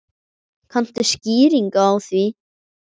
Kanntu skýringu á því?